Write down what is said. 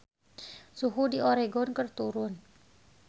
Suhu di Oregon keur turun